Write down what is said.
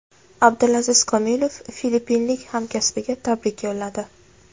Abdulaziz Komilov filippinlik hamkasbiga tabrik yo‘lladi.